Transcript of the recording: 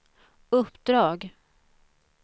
uppdrag